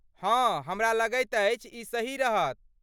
हँ, हमरा लगैत अछि ई सही रहत।